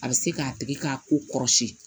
A bɛ se k'a tigi ka ko kɔrɔsiyɛn